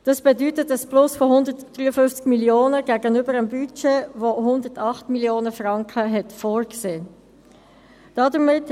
Das bedeutet ein Plus von 153 Mio. Franken gegenüber dem Budget, welches 108 Mio. Franken Überschuss vorgesehen hat.